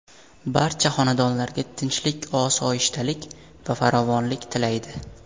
Barcha xonadonlarga tinchlik-osoyishtalik va farovonlik tilaydi.